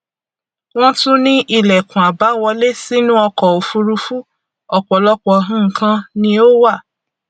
wọn tún ní ìlẹkùn àbáwọlé sínú ọkọ òfurufú ọpọlọpọ nǹkan ni ó wà